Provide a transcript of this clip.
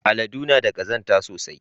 Aladu na da kazanta sosai.